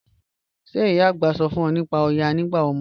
Ṣẹ̀ ìyá ạ̀gbá sọ̀ fún ọ̀ nípá Òyá nígbà ọmọdé?